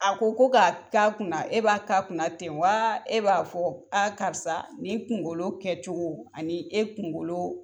A ko ko ka k'a kunna e b'a ka kun ten wa? E b'a fɔ karisa ni kunkolo kɛcogo ani e kunkolo